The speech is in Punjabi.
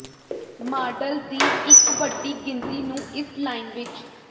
ਮਾਡਲ ਦੀ ਇੱਕ ਵੱਡੀ ਗਿਣਤੀ ਨੂੰ ਇਸ ਲਾਈਨ ਵਿਚ